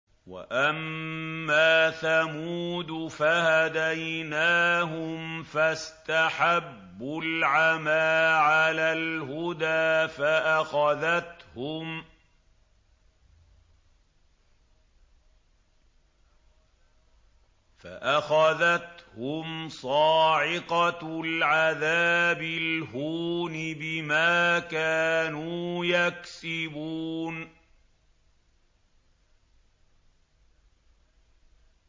وَأَمَّا ثَمُودُ فَهَدَيْنَاهُمْ فَاسْتَحَبُّوا الْعَمَىٰ عَلَى الْهُدَىٰ فَأَخَذَتْهُمْ صَاعِقَةُ الْعَذَابِ الْهُونِ بِمَا كَانُوا يَكْسِبُونَ